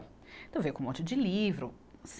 Então veio com um monte de livro.